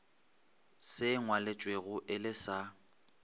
se ngwalwetšwego e le sa